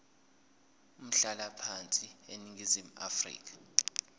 umhlalaphansi eningizimu afrika